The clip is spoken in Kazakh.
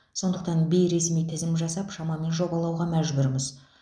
сонықтан бейресми тізім жасап шамамен жобалауға мәжбүрміз